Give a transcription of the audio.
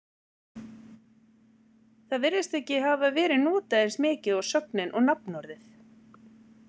Það virðist ekki hafa verið notað eins mikið og sögnin og nafnorðið.